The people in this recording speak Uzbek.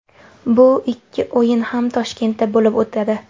Bu ikki o‘yin ham Toshkentda bo‘lib o‘tadi.